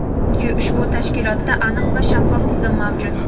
Chunki ushbu tashkilotda aniq va shaffof tizim mavjud.